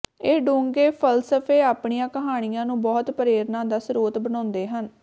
ਇਹ ਡੂੰਘੇ ਫ਼ਲਸਫ਼ੇ ਆਪਣੀਆਂ ਕਹਾਣੀਆਂ ਨੂੰ ਬਹੁਤ ਪ੍ਰੇਰਨਾ ਦਾ ਸਰੋਤ ਬਣਾਉਂਦੇ ਹਨ